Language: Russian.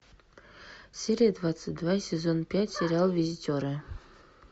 серия двадцать два сезон пять сериал визитеры